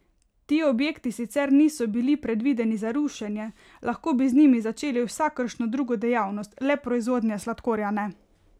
Ti objekti sicer niso bili predvideni za rušenje, lahko bi z njimi začeli vsakršno drugo dejavnost, le proizvodnje sladkorja ne.